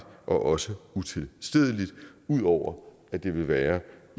og også utilstedeligt ud over at det vil være